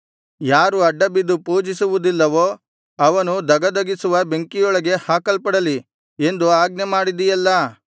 ಯಾರು ಅಡ್ಡಬಿದ್ದು ಪೂಜಿಸುವುದಿಲ್ಲವೋ ಅವನು ಧಗಧಗಿಸುವ ಬೆಂಕಿಯೊಳಗೆ ಹಾಕಲ್ಪಡಲಿ ಎಂದು ಆಜ್ಞೆಮಾಡಿದಿಯಲ್ಲಾ